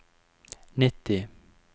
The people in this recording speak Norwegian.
nitti